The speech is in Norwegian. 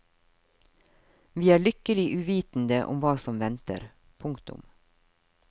Vi er lykkelig uvitende om hva som venter. punktum